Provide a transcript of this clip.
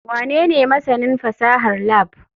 Wanene masanin fasahar lab?